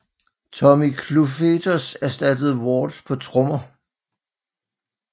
Tommy Clufetos ersattede Ward på trommer